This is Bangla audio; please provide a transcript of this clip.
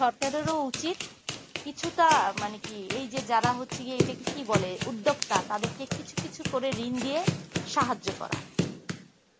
সরকারেরও উচিত কিছুটা মানে হচ্ছে কি যারা হচ্ছে মানে এটাকে কি বলে উদ্দ্যব্প্ত তাদেরকে কিছু কিছু করে ঋণ দিয়ে সাহায্য করা